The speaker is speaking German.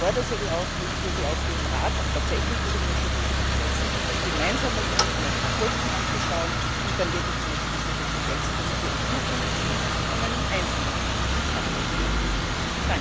Ich fordere Sie auf, hier im Rat auch tatsächlich diese Initiative zu setzen, sich gemeinsam mit uns die Kosten anzuschauen und dann wirklich die nächsten Schritte zu setzen, damit wir Sie in Zukunft an einem einzelnen Sitz des Parlaments begrüßen können.